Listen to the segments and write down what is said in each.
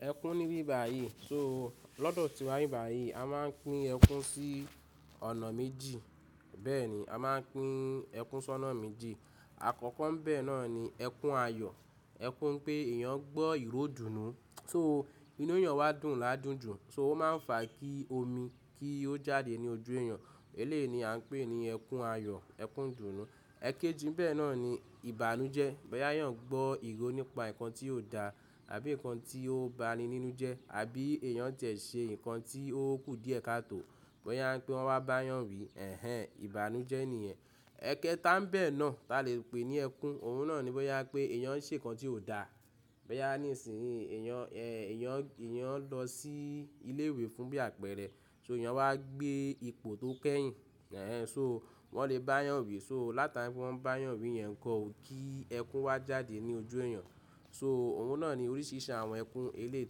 Ẹkún níbí báyìí. So lọ́dọ̀ tiwa ni bi báyìí a máa ń pín ẹkún sí ọ̀nà méjì. Bẹ́ẹ̀ ni a máa ń pín ẹkún sí ọ̀nà méjì. Àkọ́kọ́ bẹ́ẹ̀ náà ni ẹkún ayọ̀, ẹkún pé èèyàn gbọ́ ìró dùnnú. So inú èèyàn wá dùn ládùn jù, so ó máa ń fà kí omi kí ó jáde ní ojú èèyàn. Eléyìí ni à ń pè ní ẹkún ayọ̀, ẹkún ìdùnnú. Ẹ̀kéjì bẹ́ẹ̀ náà ni ìbànújẹ́. Bó yá èyàn gbọ́ ìró nípa nǹkan tí ó da àbí nǹkan tí ó ba ni nínú jẹ́ àbí èèyàn tẹ̀ ṣe nǹkan tí ó kú díẹ̀ ká tó. Bó yá ń pé wọ́n bá èyàn wí ẹ̀hen ìbànújẹ́ ni ìyẹn. Ẹ̀kéta n bẹ́ẹ̀ náà ta lè pè ní ẹkún. Òun náà ni bo yá pé èèyàn ń ṣe nǹkan tí ó da. Bẹ́ yá ní ìsìn èèyàn, ẹ́ èèyàn, èèyàn lọ sí ilé ìwé fún bí àpẹ̀rẹ̀. So èèyàn wá gbé ipò tó kẹ́yìn. Ẹ̀hen so wọ́n lè bá yàn wí. So látara pé wọ́n bá yàn wí yẹn kọ ò kí ẹkún wá jáde ní ojú èèyàn. So òun náà ni oríṣiríṣi àwọn ẹkún eléyi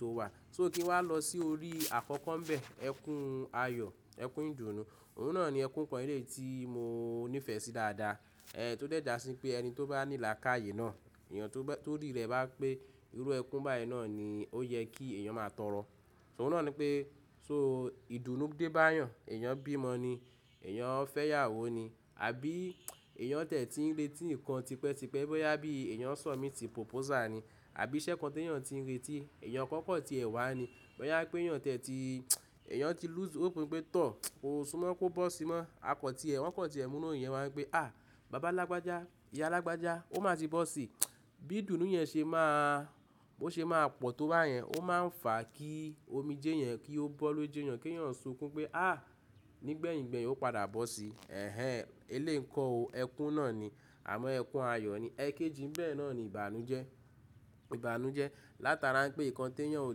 tó wà. So kí n wá lọ sí orí àkọ́kọ́ bẹ ẹkún ayọ̀, ẹkún ìdùnnú. Òun náà ni ẹkún kan eléyi tí mo níìfẹ́ sí dáadáa. Ẹ̀hen tó dé jàsín pé ẹni tó bá ní là káye náà, èèyàn tó rí rẹ̀ bá pé ìró ẹkún báyìí náà ni ó yẹ kí èèyàn máa tọrọ. So òun náà ni pé so ìdùnnú dé bá yàn, èèyàn bímọ ni, èèyàn fẹ́yàwó ni, àbí èèyàn tẹ̀ tí ń retí nǹkan tipẹ́ tipẹ́ boyá bí èèyàn submit proposal ni, àbí iṣẹ́ kan tí èèyàn ti ń retí, èèyàn kọ́kọ́ ti ẹ̀ wá ni. Boyá pé èèyàn tẹ̀ ti, èèyàn ti lọ́sẹ̀ hope pé tọ́, kó súnmọ́ kó bọ́ síi mọ́. Akọ̀ ti ẹ̀, wọ́n kọ̀ ti ẹ̀ múnú ìyẹn wá gbé. À, bàbá alágbájá, ìyá alágbájá ó máa ti bọ́ síi. Bí dùnnú yẹn ṣe máa, bó ṣe máa pọ̀ tó bá yẹn, ó máa ń fà kí omijé yẹn kí ó bọ́ lójú èèyàn kí èèyàn sunkún pé à, nígbẹ̀yìn gbẹ̀yìn ó padà bọ́ síi. Ẹ̀hen eléyi kọ́ o ẹkún náà ni. Àmọ́ ẹkún ayọ̀ ni. Ẹ̀kéjì bẹ́ẹ̀ náà ni ìbànújẹ́. Ìbànújẹ́ látara pé nǹkan tí èèyàn ò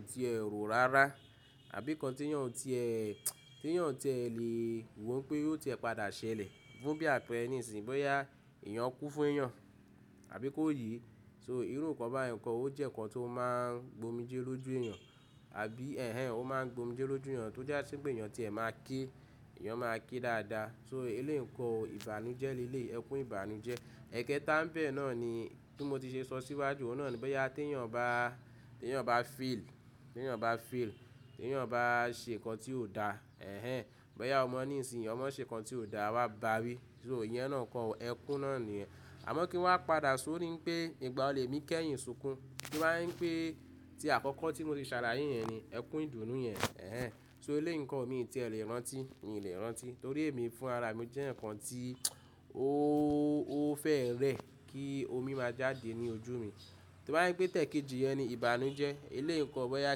ti è rò rárá àbí nǹkan tí èèyàn ò ti è, tí èèyàn tẹ̀ lè wò pé yóò tì ẹ padà ṣẹlẹ̀ fún bí àpẹ́rẹ́ ní ìsìn boyá èèyàn kú fún èèyàn àbí kó yìí. So ìró nǹkan bá yàn kọ ó jẹ́ nǹkan tó máa ń gbomijé lójú èèyàn. Àbí ẹ̀hen òun máa ń gbomijé lójú èèyàn tó já sí pé èèyàn tẹ̀ máa ké, èèyàn máa ké dáadáa. So eléyi kọ́ o ìbànújẹ́ léléyi ẹkún ìbànújẹ́. Ẹ̀kéta bẹ́ẹ̀ náà ni tí mo ti ṣe sọ síwájú, òun náà ni bẹ́ yá tí èèyàn bá, tí èèyàn bá fail, tí èèyàn bá fail, tí èèyàn bá ṣe nǹkan tí ó da. Ẹ̀hen boyá ọmọ ní ìsìn, ọmọ ṣe nǹkan tí ó da, a wa bá wí. So ìyẹn náà kọ ẹkún náà ni yẹ̀n. Àmọ́ kí n wá padà sórí pé ìgbà wo lèmi kẹ́yìn sunkún tó bá jẹ́ ń pè tí àkọ́kọ́ tí mo ti ṣàlàyé yẹn ni ẹkún ìdùnnú yẹn. Ẹ̀hen so eléyi n kọ́ o mi ti è lè rántí, mi ò lè rántí torí èmi fún ara mi jẹ́ nǹkan tí ó, ó fẹ́ rẹ́ kí omi máa jáde ní ojú mi. Tó bá ń pè tẹ̀kéjì yẹn ni ìbànújẹ́. Eléyi n kọ́ o bẹ́ yá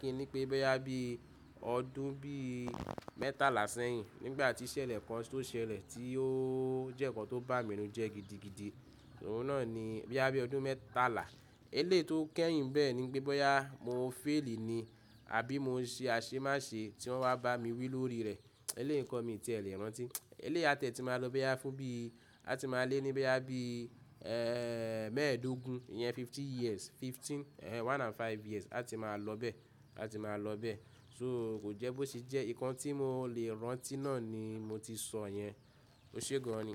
kí ni pé bẹ́ yá bí ọdún bí mẹ́tàlá sẹ́yìn nígbà tí ṣẹlẹ̀ kan tó ṣẹlẹ̀ tí ó jẹ́ nǹkan tó bà mí nu jẹ́ gidigidi. Òun náà ni bẹ́ yá bí ọdún mẹ́tàlá. Eléyi tó kẹ́yìn bẹ́ẹ̀ ni pé boyá mo fail ni àbí mo ń ṣe aṣemáṣe tí wọ́n wá bá mi wí lórí rẹ̀. Eléyi kọ́ o mi ti è lè rántí. Eléyi a tẹ̀ ti máa lọ boyá fún bí a ti máa lé ní boyá bí, ẹ́ mẹ́ẹ̀ẹ́dógún, ìyẹn fifty years, fifteen, ẹ̀hen one and five years a ti máa lọ bẹ́ẹ̀, a ti máa lọ bẹ́ẹ̀. So kò jẹ́ bó ṣe jẹ́ nǹkan tí mo lè rántí náà ni mo ti sọ yẹn. O ṣe gan ni.